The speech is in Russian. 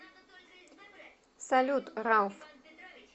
салют рауф